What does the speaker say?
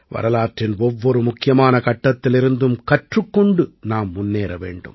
வரலாற்றின் ஒவ்வொரு முக்கியமான கட்டத்திலிருந்தும் கற்றுக் கொண்டு நாம் முன்னேற வேண்டும்